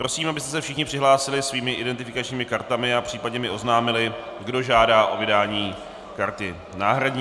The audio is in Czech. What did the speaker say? Prosím, abyste se všichni přihlásili svými identifikačními kartami a případně mi oznámili, kdo žádá o vydání karty náhradní.